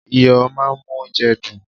Iyo máà ń mú óúnjẹ dùn.